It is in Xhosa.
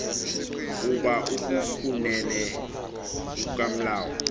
kuba ukukunene kukamlawu